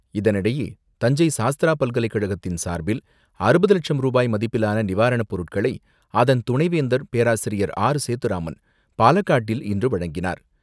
இதனிடையே, தஞ்சை சாஸ்திரா பல்கலைக்கழகத்தின் சார்பில், அறுபது லட்சம் ரூபாய் மதிப்பிலான நிவாரணப்பொருட்களை அதன் துணைவேந்தர் பேராசிரியர் ஆர்.சேதுராமன் பாலக்காட்டில் இன்று வழங்கினார்.